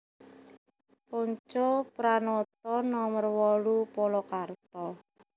Pontjo Pranoto nomer wolu Polokarto